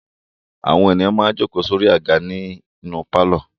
Àwọn ènìyàn máa ń jókòó sórí àga nínú pálọ̀.